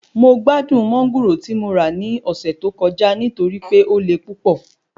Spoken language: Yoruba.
Mo gbádùn Mángòrò ti mo ra ní ọ̀sẹ̀ tó kọjá torí pé o le púpọ̀